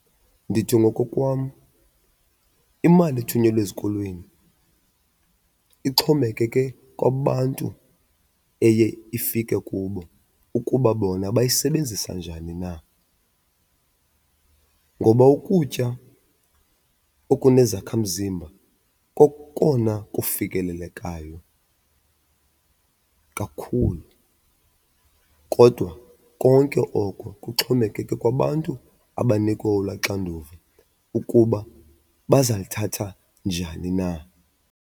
Ndithi ngokokwam, imali ethunyelwa ezikolweni ixhomekeke kwabantu eye ifike kubo ukuba bona bayisebenzisa njani na ngoba ukutya okunezakhamzimba kokona kufikelelekayo kakhulu. Kodwa konke oko kuxhomekeke kwabantu abanikwe olaa xanduva ukuba bazalithatha njani na.